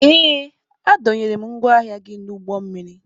Ee, a dọnyere m ngwa ahịa gị n'ụgbọ mmiri